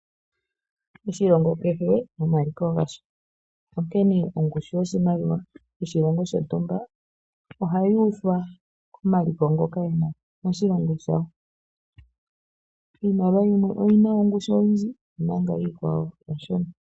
Oshilongo kehe nomaliko gasho, onkene ongushu yoshimaliwa shoshilongo shontumba ohayuuthwa komaliko ngoka goshilongo shawo. Iimaliwa yimwe oyina ongushu oyindji omanga yimwe oshona.